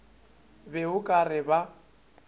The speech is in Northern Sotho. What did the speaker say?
be o ka re ba